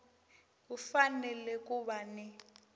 ku fanele ku va ni